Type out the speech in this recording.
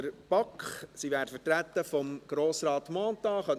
der BaK. Sie werden durch Grossrat Mentha vertreten.